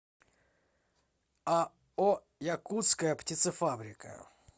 ао якутская птицефабрика